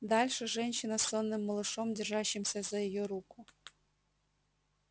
дальше женщина с сонным малышом держащимся за её руку